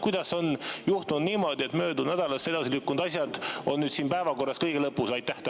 Kuidas on juhtunud niimoodi, et möödunud nädalast edasi lükkunud asjad on siin päevakorras kõige lõpus?